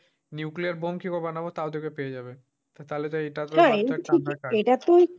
nuclear bomb কিভাবে বানাবো? তাও দেখবে পেয়ে যাবে।